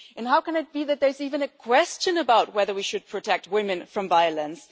How can it be that there is even a question about whether we should protect women from violence?